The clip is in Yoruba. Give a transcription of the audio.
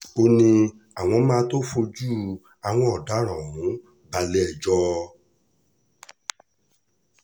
ó ní àwọn máa tóó fojú àwọn ọ̀daràn ọ̀hún balẹ̀-ẹjọ́